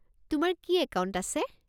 তোমাৰ কি একাউণ্ট আছে?